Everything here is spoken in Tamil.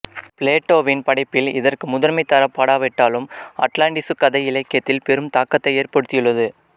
பிளேட்டோவின் படைப்பில் இதற்கு முதன்மைத் தரப்படாவிட்டாலும் அட்லாண்டிசு கதை இலக்கியத்தில் பெரும் தாக்கத்தை ஏற்படுத்தியுள்ளது